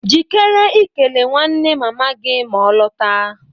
Jikere ikele nwanne mama gị ma ọ lọta.